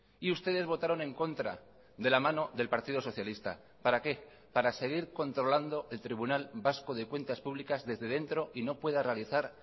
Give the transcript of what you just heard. y ustedes votaron en contra de la mano del partido socialista para qué para seguir controlando el tribunal vasco de cuentas públicas desde dentro y no pueda realizar